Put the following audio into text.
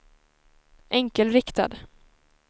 enkelriktad